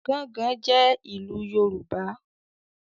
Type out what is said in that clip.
“Gángan” jẹ́ ìlù Yorùbá.